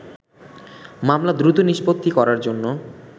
মামলা দ্রুত নিষ্পত্তি করার জন্য